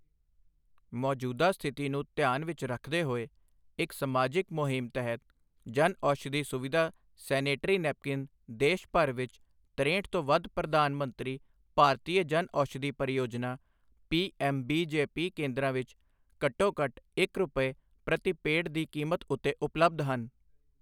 ਮੌਜੂਦਾ ਸਥਿਤੀ ਨੂੰ ਧਿਆਨ ਵਿੱਚ ਰੱਖਦੇ ਹੋਏ ਇੱਕ ਸਮਾਜਿਕ ਮੁਹਿੰਮ ਤਹਿਤ ਜਨਔਸ਼ਧੀ ਸੁਵਿਧਾ ਸੈਨੇਟਰੀ ਨੈਪਕੀਨ ਦੇਸ਼ ਭਰ ਵਿੱਚ ਤਰੇਹਟ ਤੋਂ ਵੱਧ ਪ੍ਰਧਾਨ ਮੰਤਰੀ ਭਾਰਤੀਯ ਜਨਔਸ਼ਧੀ ਪਰਿਯੋਜਨਾ P M B J P ਕੇਂਦਰਾਂ ਵਿੱਚ ਘੱਟੋ ਘੱਟ ਇਕ ਰੁਪਏ, ਪ੍ਰਤੀ ਪੇਡ ਦੀ ਕੀਮਤ ਉੱਤੇ ਉਪਲੱਬਧ ਹਨ।